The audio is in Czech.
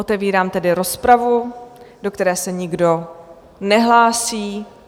Otevírám tedy rozpravu, do které se nikdo nehlásí.